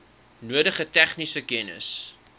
nodige tegniese kennis